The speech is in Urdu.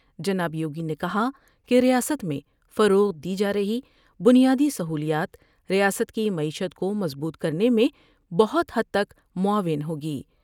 جناب یوگی نے کہا کہ ریاست میں فروغ دی جارہی بنیادی سہولیات ریاست کی معیشت کومضبوط کرنے میں بہت حد تک معاون ہوں گی ۔